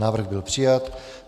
Návrh byl přijat.